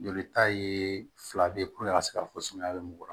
Jolita ye fila bɛ ye a ka se ka fɔ sumaya bɛ mɔgɔ kɔrɔ